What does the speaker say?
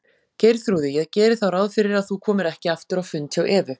Geirþrúði, ég geri þá ráð fyrir að þú komir ekki aftur á fund hjá Evu.